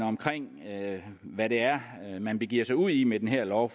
omkring hvad det er man begiver sig ud i med den her lov